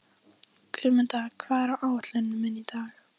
Guðmunda, hvað er á áætluninni minni í dag?